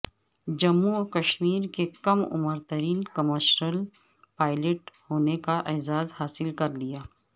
جموں و کشمیر کے کم عمر ترین کمرشل پائلٹ ہونے کا اعزاز حاصل کر لیا